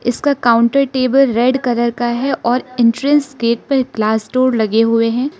इसका counter table red colour का है और एंट्रेंस गेट पर ग्लास डोर लगे हुए हैं।